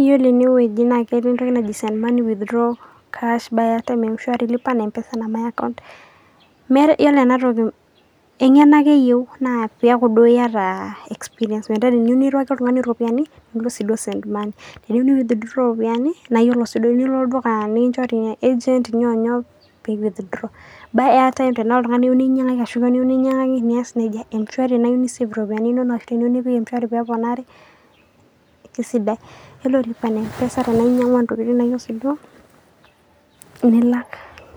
Iyiolo enewueji naa keatai entoki naji send money, withdraw cash, buy airtime, m shwari lipa na mpesa, my account. Iyiolo ena toki naa eng'eno ake eyiou, naa peaku duo iata experience. Metaa ore pee iyou niruaki oltung'ani iropiani, nilo sii duo send money. Teneyiou nei withdraw iropiani, naa iyiolo sii duo teneilo olduka le [agent] nyoo o nyoo pee ei withdraw. Buy airtime. Teneyiou ninyang'aki kewan ashu likai tung'ani nias neija. Mshwari tiniyou ni save iropiani inono ashu tiniyou nipik mshwari pee eponari, keaisidai. Ore pee ilo lipa na mpesa nainyang'ua intokitin Sii duo nilak